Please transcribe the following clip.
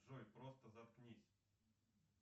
джой просто заткнись